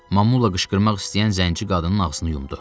Mamuyla qışqırmaq istəyən zənci qadının ağzını yumdu.